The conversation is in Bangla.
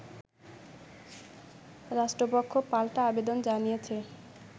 রাষ্ট্রপক্ষ পাল্টা আবেদন জানিয়েছে